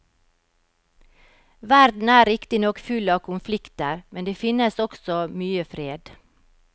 Verden er riktignok full av konflikter, men det finnes også mye fred.